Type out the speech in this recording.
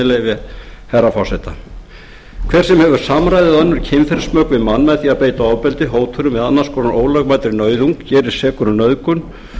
leyfi herra forseta hver sem hefur samræði eða önnur kynferðismök við mann með því að beita ofbeldi hótunum eða annars konar ólögmætri nauðung gerist sekur um nauðgun